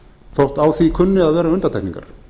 þótt á því kunni að vera undantekningar